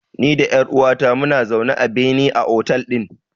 Ni da ƴar uwata muna zaune a bene a otel ɗin.